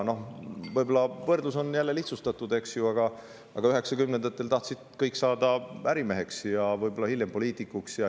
Võrdluseks sobib see – ehkki see on jälle lihtsustatud, aga ikkagi –, et 1990-ndatel tahtsid kõik saada ärimeheks ja hiljem poliitikuks.